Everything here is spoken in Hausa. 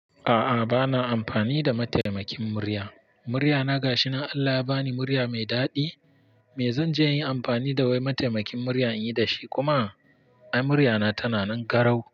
A'a bana amfani da mataimakin murya. Muryana gashi, Allah ya bani murya mai daɗi me zanje in yi amfani da wai mataimakin murya inyi da shi kuma ai muryana tana nan garau.